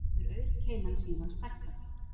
Hefur aurkeilan síðan stækkað